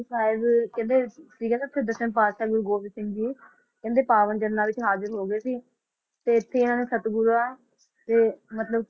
ਸਾਹਿਬ ਕਹਿੰਦੇ ਸੀਗੇ ਨਾ ਉੱਥੇ ਦਸਮ ਪਾਤਿਸ਼ਾਹ ਗੁਰੂ ਗੋਬਿੰਦ ਸਿੰਘ ਜੀ, ਕਹਿੰਦੇ ਪਾਵਨ ਚਰਨਾਂ ਵਿਚ ਹਾਜ਼ਿਰ ਹੋ ਗਏ ਸੀ ਤੇ ਇਥੇ ਇਹਨਾਂ ਨੇ ਸਤਿਗੁਰਾਂ ਦੇ ਮਤਲਬ